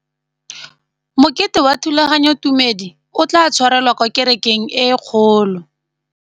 Mokete wa thulaganyôtumêdi o tla tshwarelwa kwa kerekeng e kgolo.